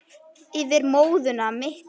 Yfir móðuna miklu.